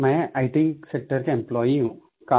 मैं IT sector का employee हूँ